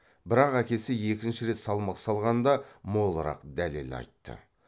бірақ әкесі екінші рет салмақ салғанда молырақ дәлел айтты